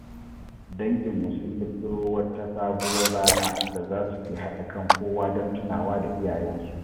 Danginmu sun ƙirƙiro wata sabuwar ranar da za suke haɗa kan kowa don tunawa da iyayensu.